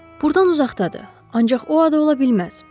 Burdan uzaqdadır, ancaq o ada ola bilməz.